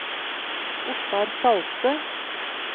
Ottar Salte